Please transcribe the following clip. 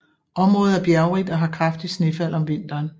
Området er bjergrigt og har kraftigt snefald om vinteren